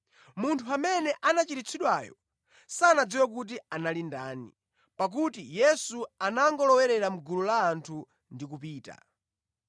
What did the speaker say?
Munthu amene anachiritsidwayo sanadziwe kuti anali ndani, pakuti Yesu anangolowera mʼgulu la anthu ndi kupita.